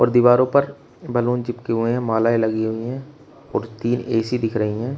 दीवारों पर बैलून चिपके हुए हैं मालाएँ लगी हुई हैं और तीन ए_सी दिख रही हैं।